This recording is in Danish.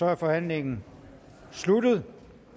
er forhandlingen sluttet